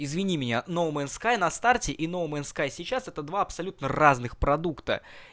извини меня ноуменскай на старте и ноуменскай сейчас это два абсолютно разных продукта